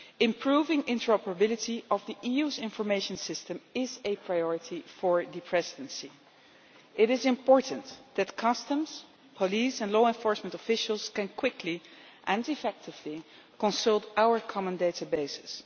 Improving the interoperability of the EU's information system is a priority for the Presidency. It is important that customs, police and law enforcement officials can quickly and effectively consult our common databases.